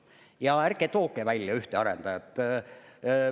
Ja ärge tooge välja ühte arendajat.